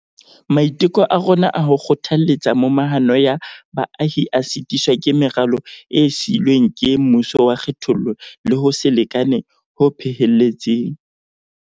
Maiteko a rona a ho kgothaletsa momahano ya baahi a sitiswa ke meralo e siilweng ke mmuso wa kgethollo le ho se lekane ho phehelletseng.